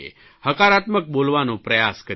હકારાત્મક બોલવાનો પ્રયાસ કરીએ